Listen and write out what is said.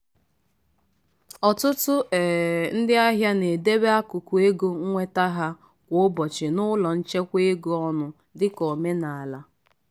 ọtụtụ um ndị ahịa na-edebe akụkụ ego nweta ha kwa ụbọchị n’ụlọ nchekwa ego ọnụ dịka omenala.